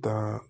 Da